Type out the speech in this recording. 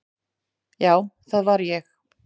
Já, það var ég.